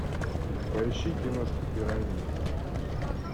поищи киношку пираньи